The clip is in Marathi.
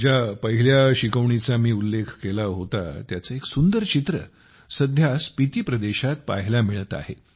ज्या पहिल्या शिकवणीचा मी उल्लेख केला होता त्याचे एक सुंदर चित्र सध्या स्पिती प्रदेशात पाहायला मिळत आहे